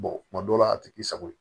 kuma dɔw la a ti k'i sago ye